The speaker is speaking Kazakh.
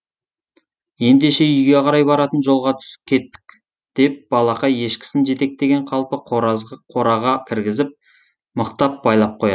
ендеше үйге қарай баратын жолға түс кеттік деп балақай ешкісін жетектеген қалпы қораға кіргізіп мықтап байлап қояды